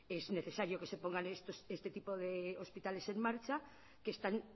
es necesario que se ponga este tipo de hospitales en marcha que están